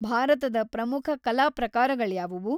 ಭಾರತದ ಪ್ರಮುಖ ಕಲಾ ಪ್ರಕಾರಗಳ್ಯಾವವು?